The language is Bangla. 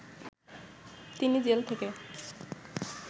তিনি জেল থেকে